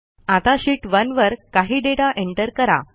आता शीत 1 वर काही डेटा एंटर करा